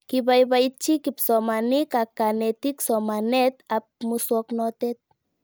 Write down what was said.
Kipaipaitchi kipsomanik ak kanetik somanet ab muswognatet